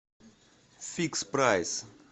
фикс прайс